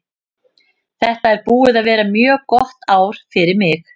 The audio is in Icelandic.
Þetta er búið að vera mjög gott ár fyrir mig.